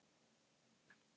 Þeir buðu bara tíu.